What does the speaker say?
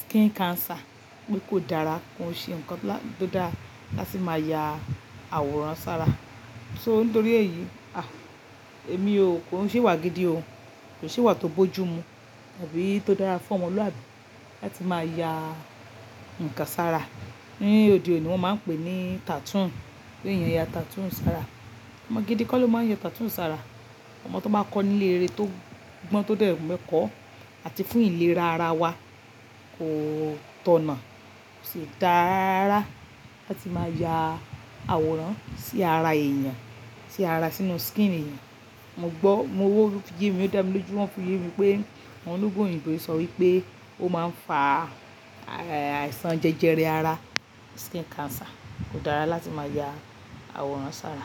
skin cancer, pé kò dára, kò ṣe nǹkan tó dára láti máa ya àwòrán sára. So nítorí èyí, ah! Èmi o, kò n ṣe ìwà gidi o, kò ṣe ìwà tó bójú mu àbí tó dára fún ọmọlúwàbí láti máa ya nǹkan sára. Ní òde òní wọ́n máa ń pè ní tattoo, pé èèyàn ya tattoo sára. Ọmọ gidi kọ́ ló máa ń ya tattoo sára. Ọmọ tó bá kọ́ nílé rere tó gbọ́n tó dẹ̀ mẹ́kọ̀ọ́ àti fún ìlera ara wa kò tọ̀nà kò sì dá rárára láti máa ya àwòrán sí ara èèyàn, sí ara sínú skin èèyàn. Mo gbọ́, mo wo video kan o dami lójú wọn fi yemí pé àwọn ológun òyìnbó sọ wípé ó máa ń fa àìsàn jẹjẹrẹ ara, skin cancer. Kò dára láti máa ya àwòrán sára.